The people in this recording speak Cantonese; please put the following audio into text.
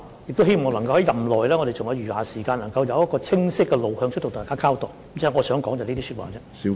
政府亦希望在任內——在我們尚餘的時間內——能夠得出清晰的路向，向大家作出交代。